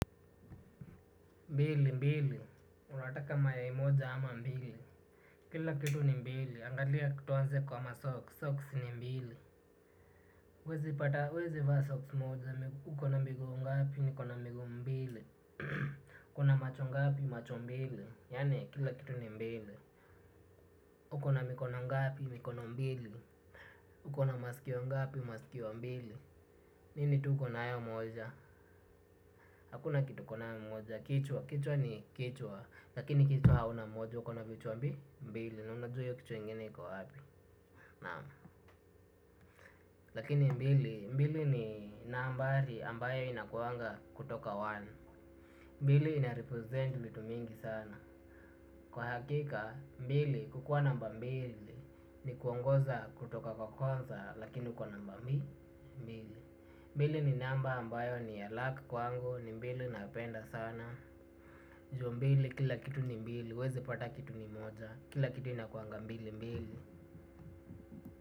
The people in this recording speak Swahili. Mbili mbili, unataka mayai moja ama mbili? Kila kitu ni mbili, angalia tuanze kwa 'masocks', 'socks' ni mbili. Huweezi pata, huwezi vaa 'socks' moja, ukona miguu ngapi? Nikona miguu mbili. Ukona macho ngapi? Macho mbili. Yaani kila kitu ni mbili. Ukona mikono ngapi? Mikono mbili. Ukona maskio ngapi? Maskio mbili. Nini tu ukona nayo moja? Hakuna kitu uko nayo moja. Kichwa, kichwa ni kichwa, lakini kichwa hauna moja, kuna vichwa mbili na unajua hiyo kichwa ingine iko wapi. Naam. Lakini mbili, mbili ni nambari ambayo inakuaga kutoka moja. Mbili 'inarepresent' vitu mingi sana. Kwa hakika, mbili, kukua namba mbili ni kuongoza kutoka kwa kwanza lakini uko namba mbi, mbili. Mbili ni namba ambayo ni ya 'luck' kwangu, ni mbili napenda sana, Ju mbili kila kitu ni mbili, huwezi pata kitu ni moja. Kila kitu inakuanga mbili mbili.